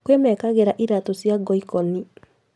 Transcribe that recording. Kwĩ mekagĩra iratũ cia ngoikoni